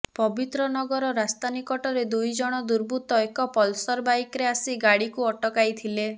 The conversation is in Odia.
ପବିତ୍ରନଗର ରାସ୍ତା ନିକଟରେ ଦୁଇଜଣ ଦୁର୍ବୃତ୍ତ ଏକ ପଲସର ବାଇକରେ ଆସି ଗାଡିକୁ ଅଟକାଇ ଥିଲେ